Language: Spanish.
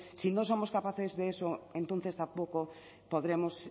si no somos capaces de eso entonces tampoco podremos